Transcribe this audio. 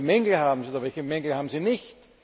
Welche Mängel haben sie, welche Mängel haben sie nicht?